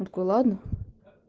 о такой ладно